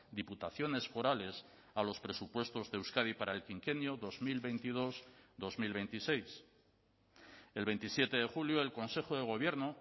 diputaciones forales a los presupuestos de euskadi para el quinquenio dos mil veintidós dos mil veintiséis el veintisiete de julio el consejo de gobierno